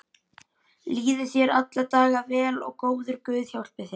Líði þér alla daga vel og góður guð hjálpi þér.